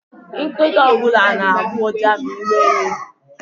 Nkịta ọbụla na-agbọ uja ma iwe wee ya.